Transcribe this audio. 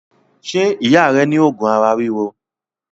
Ṣé ìyá rẹ ní òògùn ara ríro?